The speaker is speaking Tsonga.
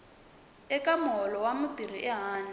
eka muholo wa mutirhi ehandle